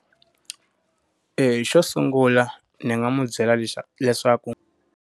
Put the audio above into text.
xo sungula, ni nga n'wi byela leswa leswaku.